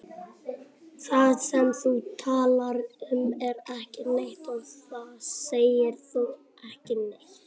Það sem þú talar um er ekki neitt og þá segir þú ekki neitt.